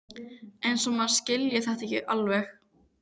Eins og maður skilji þetta ekki alveg!